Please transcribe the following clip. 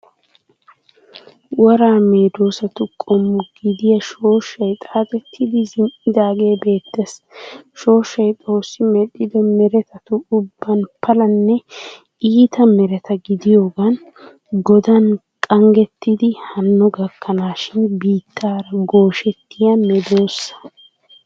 Woraa medoosatu qommo gidiya shooshshay xaaxettidi zin'idaage beettees. Shooshshay Xoossi medhdhido meretatu ubban palanne iiti mereta gidiyoogan Godan qanggettidi hanno gakkanaashin biittaara gooshettiya medoosa.